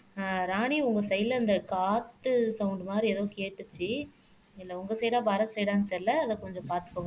ராணி உங்க சைடுல இந்த காத்து சௌண்ட் மாதிரி ஏதோ கேட்டுச்சு இல்லை உங்க சைடுடா பரத் சைடுடான்னு தெரியலே அதை கொஞ்சம் பாத்துக்கோங்க